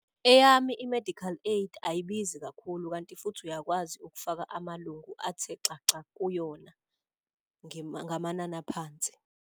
Eyami i-medical aid ayibizi kakhulu kanti futhi uyakwazi ukufaka amalungu athe xaxa kuyona ngamanani aphansi.